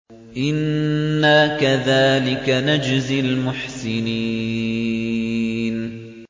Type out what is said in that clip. إِنَّا كَذَٰلِكَ نَجْزِي الْمُحْسِنِينَ